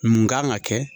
Mun kan ka kɛ